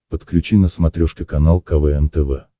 подключи на смотрешке канал квн тв